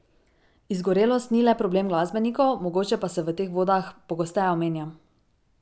Izgorelost ni le problem glasbenikov, mogoče pa se v teh vodah pogosteje omenja.